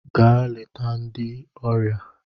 Gaa leta ndị ọrịa!